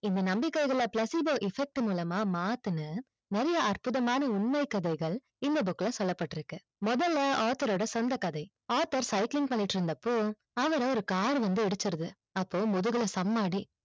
இந்த நம்பிக்கைகளா placebo effect மூலமா மாத்துனா நிறைய அற்புதமான உண்மை கதைகள் இந்த book சொல்லப்பட்டு இருக்கு முதல author ஓட சொந்த கதை author cycling பன்னிட்டு இருந்தபோ அவர ஒரு car வந்து இடிச்சிட்து அப்போ முதுகுல சம்ம அடி